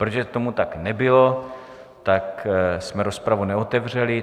Protože tomu tak nebylo, tak jsme rozpravu neotevřeli.